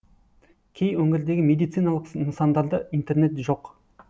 кей өңірдегі медициналық нысандарда интернет жоқ